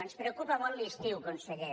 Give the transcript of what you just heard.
ens preocupa molt l’estiu conseller